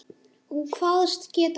Hún kvaðst geta það.